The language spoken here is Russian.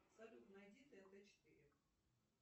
салют найди тнт четыре